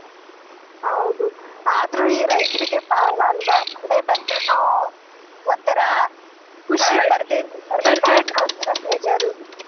ಹೌದು ಆದ್ರೂ ಈ ರೈತರಿಗೆ ಪಾಪ ಅಲ್ವಾ ಮಳೆ ಬಂದ್ರೂನೂ ಒಂಥರಾ ಖುಷಿ ಬರದೇ ಇದ್ದರೂ ಒಂಥರಾ ಬೇಜಾರು.